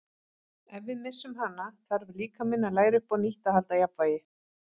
Ef við missum hana þarf líkaminn að læra upp á nýtt að halda jafnvægi.